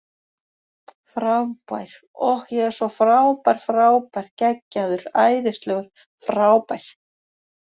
Frábær, ohh, ég er svo frábær frábær, geggjaður, æðislegur, frábær.